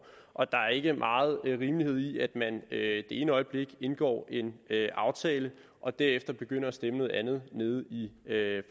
og der er ikke meget rimelighed i at man det ene øjeblik indgår en aftale og derefter begynder at stemme noget andet nede i